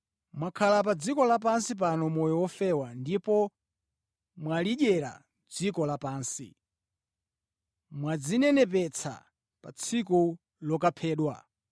Mwakhala pa dziko lapansi pano moyo ofewa ndipo mwalidyera dziko lapansi. Mwadzinenepetsa pa tsiku lokaphedwa.